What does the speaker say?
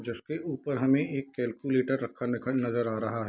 जिसके ऊपर हमें एक कैलकुलेटर रखा नखा नजर आ रहा है।